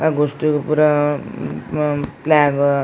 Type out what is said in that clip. ಅಗೋಸ್ಟ್ ಗು ಪೂರ ಹ್ಮ್ ಪ್ಲ್ಯಾಗ್ .